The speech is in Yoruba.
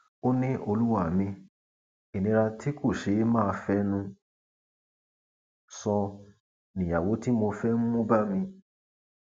ó ní olúwa mi ìnira tí kò ṣeé máa fẹnu sọ níyàwó tí mo fẹ ń mú bá mi